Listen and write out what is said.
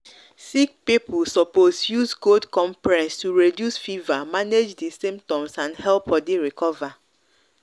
sick people suppose use cold compress to reduce fever manage di symptoms and help body recover